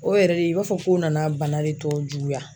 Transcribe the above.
O yɛrɛ de i b'a fɔ ko nana bana de tɔ juguya